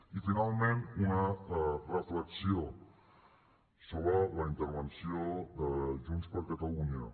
i finalment una reflexió sobre la intervenció de junts per catalunya